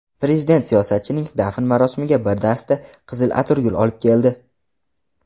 Prezident siyosatchining dafn marosimiga bir dasta qizil atirgul olib keldi.